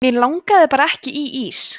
mig langaði bara ekki í ís